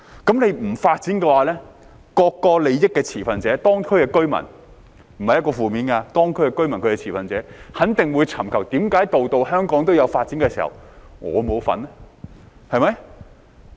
不發展的話，各個作為利益持份者的當區居民——這並非負面的話，當區居民是持份者——肯定會質疑，為何香港每區都有所發展時，他們卻沒有份兒，對嗎？